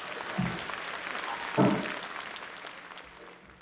Því skyldi vegur Íslands verða minni nú en undangengnar aldir?